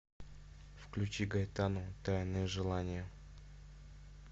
включи гайтану тайные желания